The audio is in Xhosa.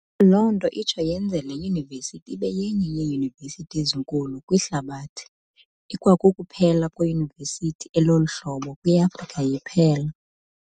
Loo nto itsho iyenze le Yunivesithi ibe yenye yeeyunivesithi ezinkulu kwihlabathi, ikwakukuphela kweyunivesithi elolu hlobo kwi-Afrika iphela.